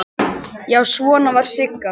Já, svona var Sigga!